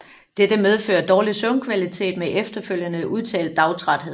Dette medfører dårlig søvnkvalitet med efterfølgende udtalt dagtræthed